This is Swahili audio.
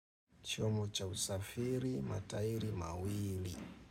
Chombo cha usafiri, matairi mawili.